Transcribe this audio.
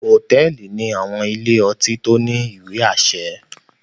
Hotẹẹli ni àwọn ìlé-ọtí to ni iwe-aṣẹ